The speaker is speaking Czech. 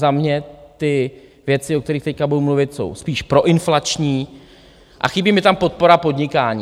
Za mě ty věci, o kterých teď budu mluvit, jsou spíš proinflační a chybí mi tam podpora podnikání.